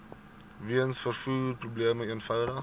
weens vervoerprobleme eenvoudig